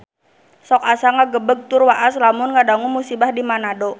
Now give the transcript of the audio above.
Sok asa ngagebeg tur waas lamun ngadangu musibah di Manado